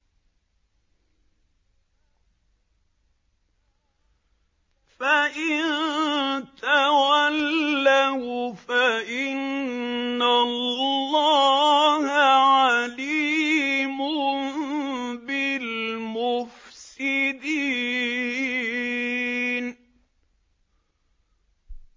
فَإِن تَوَلَّوْا فَإِنَّ اللَّهَ عَلِيمٌ بِالْمُفْسِدِينَ